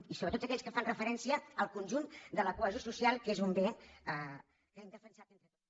i sobretot aquells que fan referència al conjunt de la cohesió social que és un bé que hem defensat entre tots